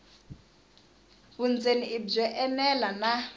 vundzeni i byo enela na